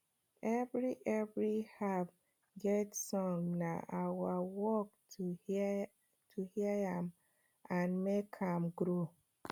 every every herb get song na our work to hear am and make am grow